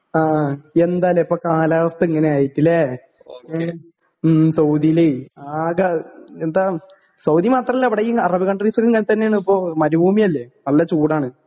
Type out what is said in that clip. ആ എന്താല്ലേ ഇപ്പൊ കാലാവസ്ഥ ഇങ്ങനായിട്ട്ലേ ഏ ഉം സൗദീല് ആകെ എന്താ സൗദി മാത്രല്ല ഇവിടെ ഈ അറബ് കണ്ട്രീസിങ്ങനത്തന്നേണിപ്പോ മരുഭൂമിയല്ലെ നല്ല ചൂടാണ്.